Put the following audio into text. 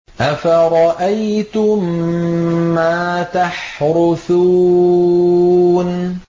أَفَرَأَيْتُم مَّا تَحْرُثُونَ